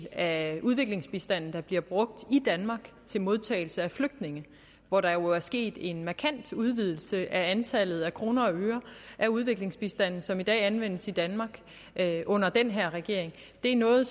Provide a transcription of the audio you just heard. af udviklingsbistanden der bliver brugt i danmark til modtagelse af flygtninge hvor der jo er sket en markant udvidelse af antallet af kroner og øre af udviklingsbistanden som i dag anvendes i danmark under den her regering det er noget